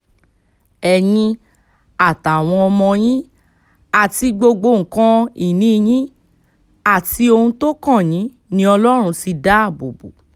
ẹ̀yin àtàwọn ọmọ yín àti gbogbo nǹkan-ìní yín àti ohun tó kàn yín ni ọlọ́run ti dáàbò bò